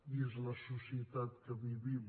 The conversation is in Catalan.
i és la societat en què vivim